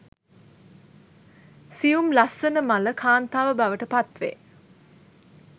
සියුම් ලස්සන මල කාන්තාව බවට පත්වේ.